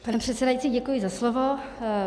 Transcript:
Pane předsedající, děkuji za slovo.